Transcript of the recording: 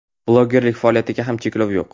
Blogerlik faoliyatiga ham cheklov yo‘q.